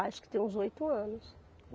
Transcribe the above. Acho que tem uns oito anos.